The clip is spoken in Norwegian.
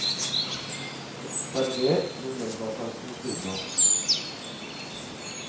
Server med melbasausen ved siden av.